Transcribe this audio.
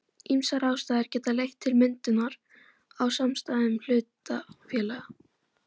Ýmsar ástæður geta leitt til myndunar á samstæðum hlutafélaga.